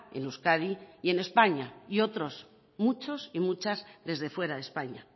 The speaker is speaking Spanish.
en euskadi y en españa y otros muchos y muchas desde fuera de españa